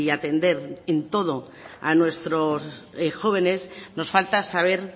atender en todo a nuestros jóvenes nos falta saber